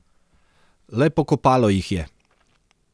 Le pokopalo jih je.